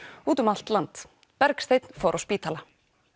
út um allt land Bergsteinn fór á spítala